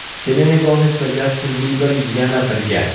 Selena Gomes va Jastin Biber yana birga.